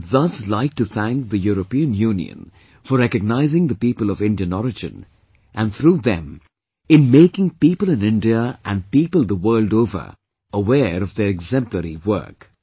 I would thus like to thank the European Union, for recognizing the people of Indian origin and through them in making people in India and people the world over aware of their exemplary work